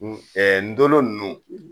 Ɛɛ ndolo nunnu